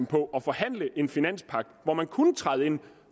på at forhandle en finanspagt hvor man kunne træde ind